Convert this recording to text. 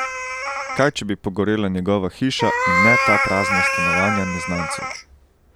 Kaj če bi pogorela njegova hiša in ne ta prazna stanovanja neznancev?